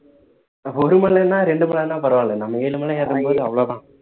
ஒரு மலைன்னா ரெண்டு மலைன்னா பரவாயில்ல நம்ம ஏழு மலை ஏறும் போது அவ்ளோ தான்